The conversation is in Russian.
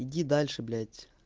иди дальше блять